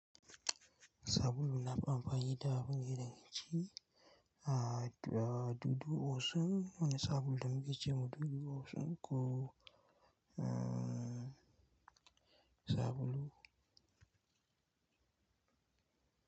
Sabulu na amfani da wanne daga ciki, ah dudu osin wani sabulu da muke ce ma dudu osin ko ah sabulu.